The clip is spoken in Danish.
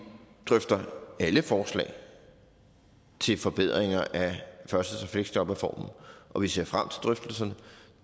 drøfter alle forslag til forbedringer af førtidspensions og fleksjobreformen og vi ser frem til drøftelserne